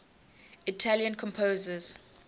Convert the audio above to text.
italian composers